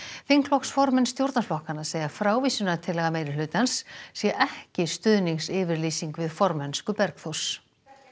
þingflokksformenn stjórnarflokkanna segja að frávísunartillaga meirihlutans sé ekki stuðningsyfirlýsing við formennsku Bergþórs